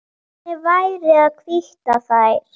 Hvernig væri að hvítta þær?